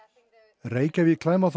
Reykjavík